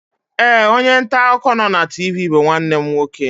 Ee, onye nta akụkọ nọ na TV bụ nwanne m nwoke